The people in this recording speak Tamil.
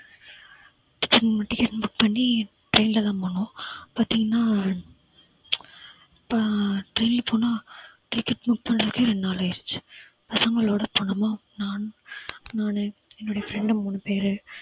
ஹம் ticket book பண்ணி train ல தான் போனோம் பார்த்தீங்கனா இப்ப train போனா ticket book பண்றதுக்கே ரெண்டு நாள் ஆயிடுச்சு பசங்களோட போனோமா நான் நானு என்னுடைய friend உ மூணு பேரு